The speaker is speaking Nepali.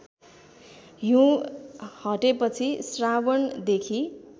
हिँउ हटेपछि श्रावणदेखि